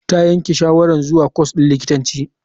Ta yanke shawarar zuwa kwas din likitanci.